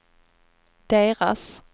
deras